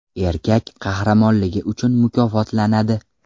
Erkak qahramonligi uchun mukofotlanadi.